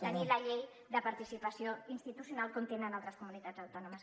tenir la llei de participació institucional com tenen altres comunitats autònomes